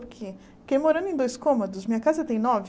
Porque fiquei morando em dois cômodos, minha casa tem nove.